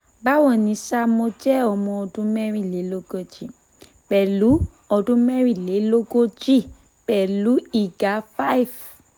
báwo ni sà mo jẹ́ ọmọ ọdún merinleloogoji pẹ̀lú ọdún merinleloogoji pẹ̀lú ìga 5'